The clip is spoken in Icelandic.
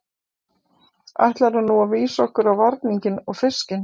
Ætlarðu nú vísa okkur á varninginn og fiskinn?